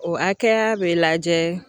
O hakɛya bɛ lajɛ